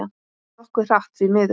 Nokkuð hratt, því miður.